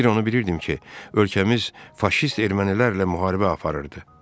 Bir onu bilirdim ki, ölkəmiz faşist ermənilərlə müharibə eləyir.